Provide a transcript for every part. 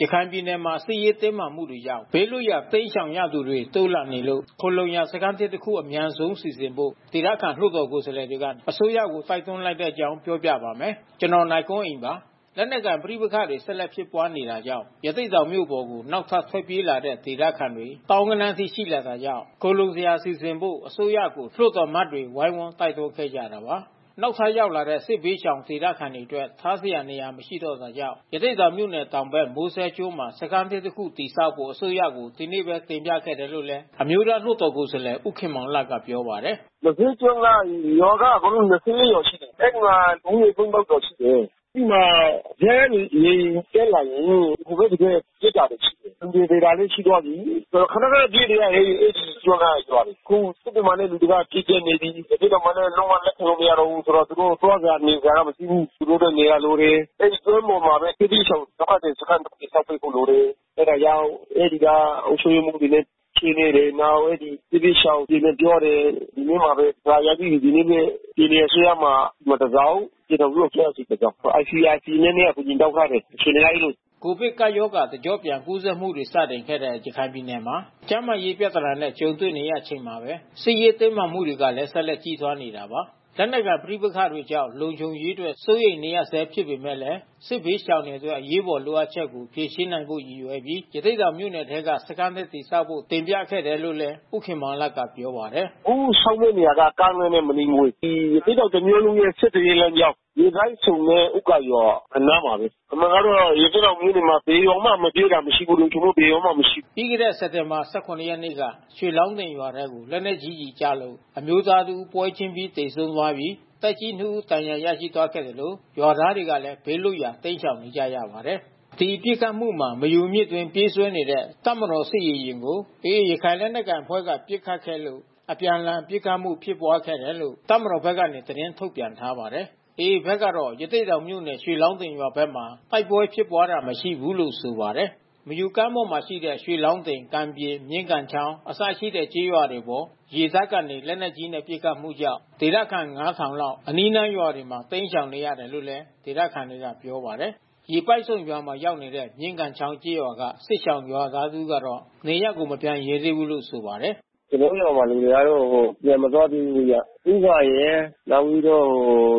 ရခိုင်ပြည်နယ်မှာ စစ်ရေးတင်းမာမှုတွေကြောင့် ဘေးလွတ်ရာ တိမ်းရှောင်ရသူတွေ တိုးလာနေတာကြောင့် ခိုလှုံစရာ စခန်းသစ်တခု အမြန်ဆုံး စီစဉ်ဖို့ ဒေသခံလွှတ်တော်ကိုယ်စားလှယ်တွေက အစိုးရကို တိုက်တွန်းလိုက်တဲ့ အကြောင်း ပြောပြပါမယ်။ ဗွီအိုအေမြန်မာပိုင်းသတင်းထောက် နိုင်ကွန်းအိန်က တင်ပြပေးပါမယ်။ လက်နက်ကိုင် ပဋိပက္ခတွေ ဆက်လက် ဖြစ်ပွားနေတာကြောင့် ရသေ့တောင်မြို့ပေါ်ကို နောက်ထပ် ထွက်ပြေး လာကြတဲ့ ဒေသခံတွေ သောင်းဂဏန်းအထိ ရှိလာတာကြောင့် ခိုလှုံစရာစီစဉ်ဖို့ အစိုးရကို လွှတ်တော်အမတ်တွေ ဝိုင်းဝန်း တိုက်တွန်းခဲ့ကြတာပါ။ နောက်ထပ် ရောက်လာတဲ့ စစ်ဘေးရှောင်ဒေသခံတွေအတွက် ထားစရနေရာ မရှိတော့ တာကြောင့် ရသေ့တောင်မြို့နယ် တောင်ဘက် မိုးစဲကျွန်းမှာ စခန်းသစ်တစ်ခု တည်ဆောက်ဖို့ အစိုးရကို ဒီနေ့ပဲ တင်ပြခဲ့တယ်လို့လည်း အမျိုးသားလွှတ်တော်ကိုယ်စားလှယ် ဦးခင်မောင်လတ်က ပြောပါတယ်။ “မိုးစဲကျွန်းက ရွာက ရွာရှိတယ်။ အဲဒီမှာလူဦးရေ ကျော်ရှိတယ်။ အဲဒီမှာ ဇက်ရေယာဉ် တက်လာရင် ဟို ဘက် ဒီဘက်ပစ်တာတွေရှိတယ်။ လူတွေသေတာလဲရှိသွားပြီး။ ခဏခဏပြေးနေရတယ် အဲဒီကျွန်းကရွာတွေ။ အခုစစ်တွေ မှာလဲလူတွေပြည့်ကြပ်နေပြီး။ ရသေ့တောင်မှာလည်း လုံးဝလက်ခံလို့မရတော့ဘူးဆိုတော့ သူတို့သွားစရာနေစရာ မရှိ ဘူး။ သူတို့အတွက်နေရာလိုတယ်။ အဲဒီကျွန်းပေါ်မှာဘဲ စစ်ဘေဒရှောင်ဒုက္ခသည်စခန်း တည်ဆောက်ပေး ဖို့လို တယ်။ အဲတာကြောင့်အဲဒီကအုပ်ချုပ်ရေးမှူးတွေနဲ့ဆွေးနွေးတယ်။ နောက်အဲဒီ စစ်ဘေးရှောင်တွေနဲ့ပြောတယ်။ ဒီနေ့မှာဘဲစာရိုက်ပြီးပြီး။ ဒီနေ့ဘဲ ပြည်နယ်အစိုးရမှာတစောင် ပြည်ထောင်စုအစိုးရဆီတစောင်။ ICRCနဲ့အကူညီ တောင်းထားတယ်။ အခြေအနေက အဲဒီလို။” ကိုဗစ်ကပ်ရောဂါ တကျော့ပြန်ကူးစက်မှုတွေ စတင်ခဲ့တဲ့ ရခိုင်ပြည်နယ်မှာ ကျန်းမာရေးပြဿနာနဲ့ ကြုံနေရချိန်မှာပဲ စစ်ရေးတင်းမာမှုတွေလည်း ဆက်လက် ကြီးထွားနေတာပါ။ လက်နက်ကိုင် ပဋိပက္ခတွေကြောင့် လုံခြုံရေးအတွက် စိုးရိမ်နေရဆဲ ဖြစ်ပေမဲ့လည်း စစ်ရှောင်ဒုက္ခသည်တွေအတွက် အရေးပေါ်လိုအပ်ချက်ကို ဖြေရှင်းနိုင်ဖို့ ရည်ရွယ်ပြီး ရသေ့တောင်မြို့နယ်ထဲမှာပဲ စခန်းသစ်တည်ဆောက်ဖို့ တင်ပြခဲ့တာလို့လည်း ဦးခင်မောင်လတ်က ပြောပါတယ်။ “အခုဆောက်မယ့် နေရာက ကားလမ်းနဲ့မနီးမဝေး။ ဒီရသေ့တောင် တမြို့လုံးရဲ့ ဆက်သွယ်ရေးလမ်းကြောင်း။ ရေပိုက်ဆုံ နဲ့ ဦးဂါရွာအနားမှာဘဲ။ အမှန်ကတော့ ရသေ့တောင်မြို့နယ်မှာ ဘယ်ရွာမှ မပြေးတာမရှိဘူး။ လုံခြုံမှုဘယ်ရွာမှ မရှိဘူး။” ပြီးခဲ့တဲ့ စက်တင်ဘာ ၁၇ ရက်နေ့က ရွှေလောင်းတင်ရွာထဲကို လက်နက်ကြီးကျည်ကျလို့ အမျိုးသားတဦး ပွဲချင်းပြီး သေဆုံး သွားခဲ့ပြီး သက်ကြီးနှစ်ဦးဒဏ်ရာရရှိသွားခဲ့သလို ရွာသားတွေလည်း ဘေးလွတ်ရာ တိမ်းရှောင်နေကြရပါတယ်။ ဒီပစ်ခတ်မှုမှာ မယူမြစ်အတွင်ပြေးဆွဲနေတဲ့ တပ်မတော်စစ်ရေယာဉ်ကို AA ရခိုင်လက်နက်ကိုင် အဖွဲ့က ပစ်ခတ်ခဲ့လို့ အပြန်အလှန်ပစ်ခတ်မှု ဖြစ်ပွားခဲ့တယ်လို့တပ်မတော်ဘက်က သတင်းထုတ်ပြန်ထားပါတယ်။ AAဘက်ကတော့ ရသေ့တောင်မြို့နယ် ရွှေလောင်းတင်ရွာဘက်မှာ တိုက်ပွဲဖြစ်ပွားတာမရှိဘူးလို့ဆိုပါတယ်။ မယူမြစ်ကမ်းပေါ်မှာရှိနေတဲ့ ရွှေလောင်းတင်၊ ကံပြင်၊ မြင်းကန်းချောင်း၊ အစရှိတဲ့ကျေးရွာတွေအပေါ် ရေတပ်ကနေ လက်နက်ကြီးနဲ့ ပစ်ခတ်မှုတွေကြောင့် ဒေသခံရွာသား လောက် အနီးနားရွာတွေမှာ တိမ်းရှောင်နေရ တယ်လို့လည်း ဒေသခံတွေက ပြောပါတယ်။ ရေပိုက်ဆုံရွာမှာရောက်နေတဲ့ မြင်းကန်းချောင်းကျေးရွာကစစ်ရှောင်ရွာသားတဦးကတော့ နေရပ်ကို မပြန်ရဲ သေးဘူးလို့ ဆိုပါတယ်။ “ကျွန်တော်တို့ရွာလူတွေကတော့ ပြန်မသွားသေးဘူးဗျ။ ဦးဂါရယ် နောက်ပြီးတော့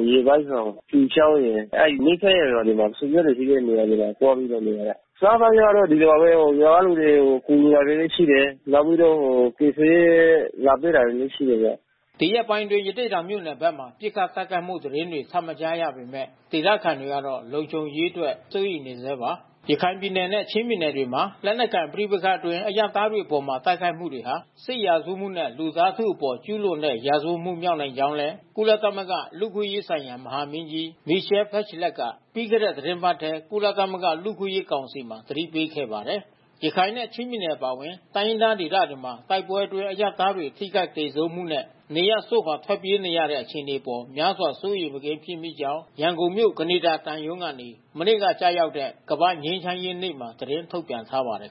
ရေပိုက်ဆုံ ဖြူချောင်းရယ် အဲဒီနီး စပ်ရာရွာတွေမှာ ဆွေမျိုးတွေရှိတဲ့နေရာတွေမှာ သွားပြီးတော့နေရတာ။ အစားသောက်ကျတော့ ဒီရွာတော့ ရွာကလူ တွေ ကူညီတာတွေလဲရှိတယ်။ နောက်ပြီးတော့ ကယ်ဆယ်ရေးလဲ လာပေးတာလဲရှိတယ်ဗျ။” ဒီရက်ပိုင်းအတွင်း ရသေ့တောင်မြို့နယ်ဘက်မှာ ပစ်ခတ် တိုက်ခိုက်မှု သတင်းတွေ ထပ်မကြားရပေမဲ့ ဒေသခံတွေကတော့ လုံခြုံရေးအတွက် စိုးရိမ်နေဆဲပါ။ ရခိုင်ပြည်နယ်နဲ့ ချင်းပြည်နယ်တွေမှာ လက်နက်ကိုင် ပဋိပက္ခတွေအတွင်း အရပ်သားတွေအပေါ် တိုက်ခိုက်မှုတွေဟာ စစ်ရာဇဝတ်မှုနဲ့ လူသားထုအပေါ် ကျုးလွန်တဲ့ ရာဇဝတ်မှုမြောက်နိုင်ကြောင်းလည်း ကုလသမဂ္ဂ လူ့အခွင့်အရေးဆိုင်ရာ မဟာမင်းကြီး Michelle Bachelet က ပြီးခဲ့တဲ့ သီတင်းပတ်ထဲ ကုလသမဂ္ဂ လူ့အခွင့်အရေး ကောင်စီမှာ သတိပေးထားပါတယ်။ ရခိုင်နဲ့ ချင်းပြည်နယ် အပါအဝင် တိုင်းရင်းသားဒေသတွေက တိုက်ပွဲတွေအတွင်း အရပ်သားတွေ ထိခိုက်သေဆုံးမှုနဲ့ နေရပ်စွန့်ခွာ ထွက်ပြေးနေရတဲ့ အခြေအနေအပေါ် များစွာစိုးရိမ်မကင်း ဖြစ်မိကြောင်း ရန်ကုန်ရှိ ကနေဒါသံရုံးကနေ မနေ့က ကျရောက်တဲ့ ကမ္ဘာ့ငြိမ်းချမ်းရေးနေ့မှာ သတင်းထုတ်ပြန်ထားပါတယ်